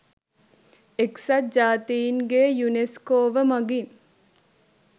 එක්සත් ජාතීන්ගේ යුනෙස්කෝව මගින්